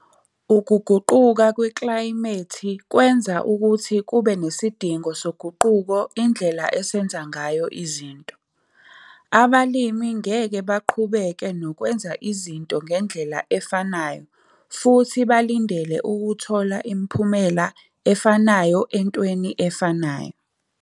Ukuguquka kweklayimethi kwenza ukuthi kube nesidingo soguquko indlela esenza ngayo izinto. Abalimi ngeke baqhubeke nokwenza izinto ngendlela efanayo futhi balindele ukuthola imiphumela efanayo entweni efanayo